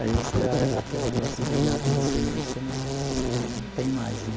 Aí você, aquele negócio de brigar com você mesmo, você não não tem mais, né?